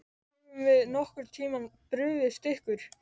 Höfum við nokkurn tímann brugðist ykkur?